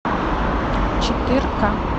четырка